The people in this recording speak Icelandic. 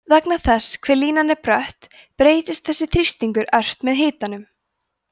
vegna þess hve línan er brött breytist þessi þrýstingur ört með hitanum